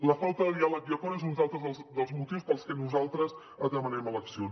la falta de diàleg i acord és un altre dels motius pels que nosaltres demanem eleccions